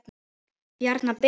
bjarna ben?